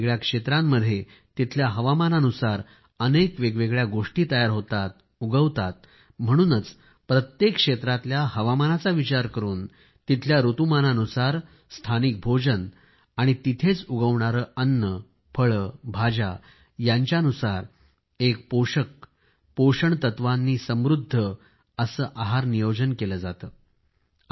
वेगवेगळ्या क्षेत्रामध्ये तिथल्या हवामानानुसार अनेक वेगवेगळ्या गोष्टीं तयार होतात उगवतात म्हणूनच प्रत्येक क्षेत्रातल्या हवामानाचा विचार करून तिथल्या ऋतुमानानुसार स्थानिक भोजन आणि तिथेच उगवणारे अन्न फळे भाज्या यांच्यानुसार एक पोषक पोषण द्रव्यांनी समृद्ध असे आहार नियोजन केले जाते